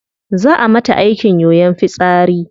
Zaa a mata aikin yoyon fitsari